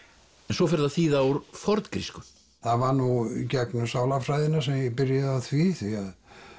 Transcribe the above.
svo ferðu að þýða úr forngrísku það var nú í gegnum sálarfræðina sem ég byrjaði á því því